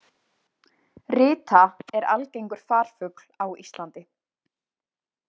Rita er algengur farfugl á Íslandi.